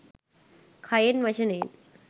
කයෙන් වචනයෙන්